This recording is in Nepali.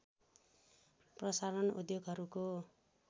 प्रसारण उद्योगहरूको